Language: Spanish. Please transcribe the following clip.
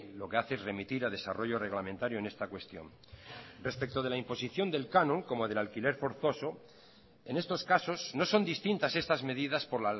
lo que hace es remitir a desarrollo reglamentario en esta cuestión respecto de la imposición del canon como del alquiler forzoso en estos casos no son distintas estas medidas por